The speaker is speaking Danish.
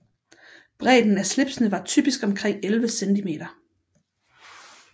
Bredden af slipsene var typisk omkring 11 cm